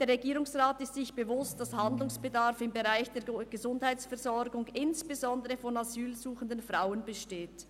«Der Regierungsrat ist sich bewusst, dass Handlungsbedarf im Bereich der Gesundheitsversorgung insbesondere von asylsuchenden Frauen besteht.